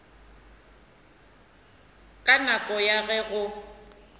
ka nako ya ge go